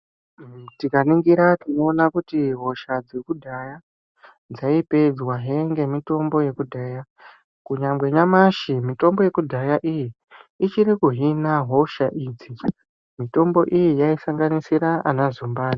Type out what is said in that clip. Tikaningira tinoona kuti hosha dzakudhaya dzaipedzwahe ngemitombo yakudhaya. Kunyangwe nyamashi mitombo yakudhaya iyi iri kuhina hosha idzi. Mitombo iyi yaisanganisira ana zumbani.